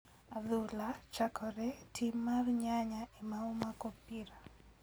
Adhula chakore ,ti mar nyanya ema omako opira.